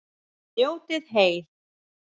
Njótið heil.